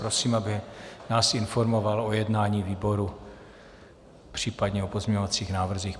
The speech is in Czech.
Prosím, aby nás informoval o jednání výboru, případně o pozměňovacích návrzích.